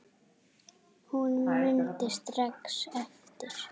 Hún mundi strax eftir